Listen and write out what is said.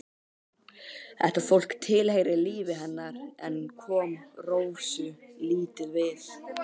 Þetta fólk tilheyrði lífi hennar en kom Rósu lítið við.